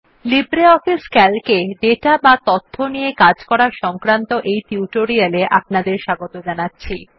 LibreOffice C A L C -এ data বা তথ্য নিয়ে কাজ করা সংক্রান্ত এই টিউটোরিয়াল এ আপনদের স্বাগত জানাচ্ছি